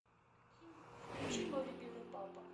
включи мой любимый папа